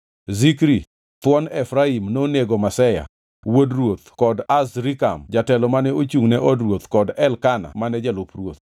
Zikri thuon Efraim nonego Maseya wuod ruoth kod Azrikam jatelo mane ochungʼ ne od ruoth kod Elkana mane jalup ruoth.